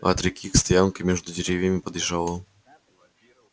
от реки к стоянке между деревьями подъезжало